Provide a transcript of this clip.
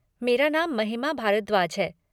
मेरा नाम महिमा भारद्वाज है।